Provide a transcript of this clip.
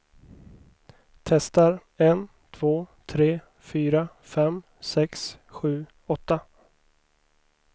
Testar en två tre fyra fem sex sju åtta.